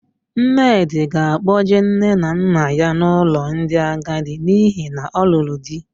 Nnedị ga-akpọjee nne na nne ya n'ụlọ ndị agadi n'ihi na ọ lụrụ di.